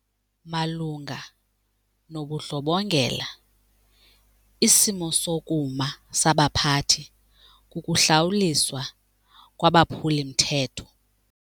Malunga nobundlobongela, isimo sokuma sabaphathi kukuhlawuliswa kwabaphuli-mthetho.